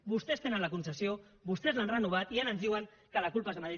vostès tenen la concessió vostès l’han renovat i ara ens diuen que la culpa és de madrid